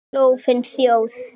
Klofin þjóð.